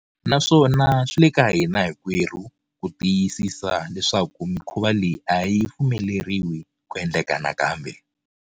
Naswona swi le ka hina hinkwerhu ku tiyisisa leswaku mikhuva leyi a yi pfumeleriwi ku endleka nakambe.